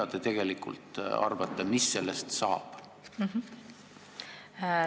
Mis te tegelikult arvate, mis sellest saab?